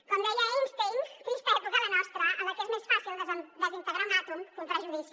com deia einstein trista època la nostra en la que és més fàcil desintegrar un àtom que un prejudici